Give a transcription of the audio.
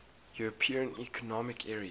european economic area